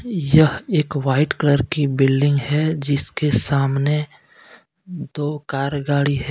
यह एक white colour की बिल्डिंग है जिसके सामने दो कार गाड़ी है।